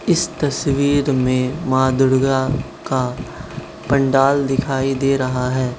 इस तस्वीर में मां दुर्गा का पंडाल दिखाई दे रहा है।